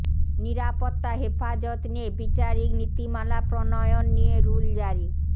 নিরাপত্তা হেফাজত নিয়ে বিচারিক নীতিমালা প্রণয়ন নিয়ে রুল জারি